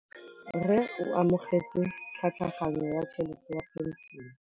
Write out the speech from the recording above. Rragwe o amogetse tlhatlhaganyô ya tšhelête ya phenšene.